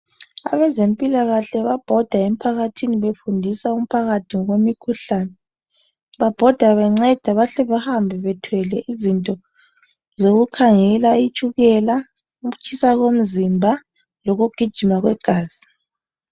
Abezempilakahle babhoda emphakathini befundisa umphakathi ngokwemikhuhlane babhoda benceda bahle bahambe bethwele izinto zokukhangela itshukela ukutshisa komzimba lokugijima kwegazi.